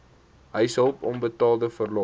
huishulp onbetaalde verlof